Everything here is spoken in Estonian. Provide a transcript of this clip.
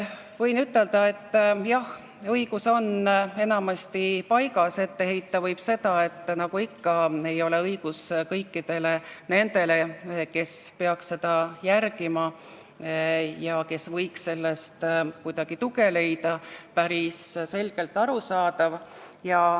Võin ütelda, et jah, õigus on enamasti paigas, ette heita võib seda, et nagu ikka ei ole õigus kõikidele nendele, kes peaks seda järgima ja kes võiks sellest kuidagi tuge leida, päris selgelt arusaadav.